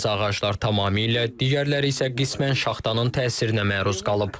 Bəzi ağaclar tamamilə, digərləri isə qismən şaxtanın təsirinə məruz qalıb.